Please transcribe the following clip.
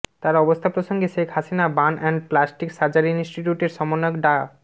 তার অবস্থা প্রসঙ্গে Sheikh Hasina burn and plastic surgery ইন্সটিটিউটের সমন্বয়ক ডা